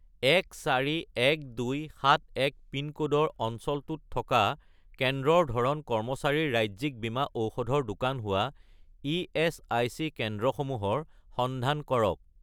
141271 পিনক'ডৰ অঞ্চলটোত থকা কেন্দ্ৰৰ ধৰণ কৰ্মচাৰীৰ ৰাজ্যিক বীমা ঔষধৰ দোকান হোৱা ইএচআইচি কেন্দ্ৰসমূহৰ সন্ধান কৰক